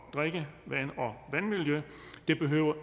vandmiljø det behøver